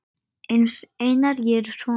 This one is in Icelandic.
Einar, ég er sonur.